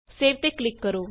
save ਤੇ click ਕਰੋ